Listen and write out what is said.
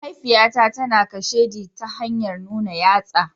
Mahaifiyata tana kasheɗi ta hanyar nuna yatsa.